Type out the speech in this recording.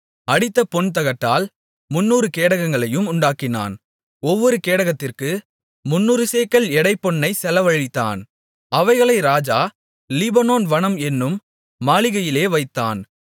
அடித்த பொன்தகட்டால் முந்நூறு கேடகங்களையும் உண்டாக்கினான் ஒவ்வொரு கேடகத்திற்கு முந்நூறு சேக்கல் எடை பொன்னைச் செலவழித்தான் அவைகளை ராஜா லீபனோன் வனம் என்னும் மாளிகையிலே வைத்தான்